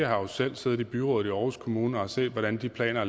har jo selv siddet i byrådet i aarhus kommune og set hvordan planer